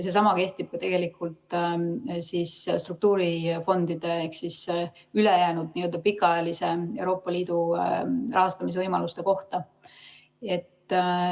Seesama kehtib ka struktuurifondide ehk Euroopa Liidu ülejäänud pikaajaliste rahastamisvõimaluste kohta.